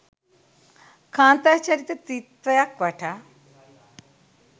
කාන්තා චරිත ත්‍රිත්වයක් වටා